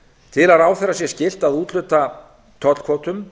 til að ráðherra sé skylt að úthluta tollkvótum